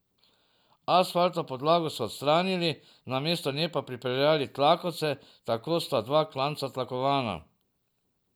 Asfaltno podlago so odstranili, namesto nje pa pripeljali tlakovce, tako sta dva klanca tlakovana.